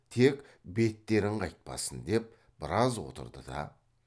тек беттерің қайтпасын деп біраз отырды да